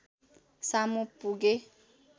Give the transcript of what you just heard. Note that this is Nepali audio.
सामु पुगे